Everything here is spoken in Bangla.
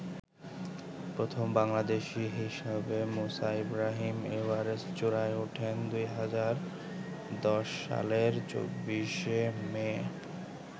প্রথম বাংলাদেশী হিসাবে মুসা ইব্রাহিম এভারেস্ট চূড়ায় ওঠেন ২০১০ সালের ২৪শে মে।